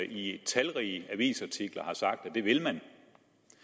i talrige avisartikler har sagt at det vil man have i